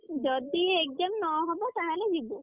ଯଦି exam ନ ହବ ତାହେଲେ ଯିବୁ।